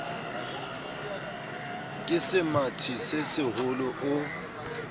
ke semathi se seholo o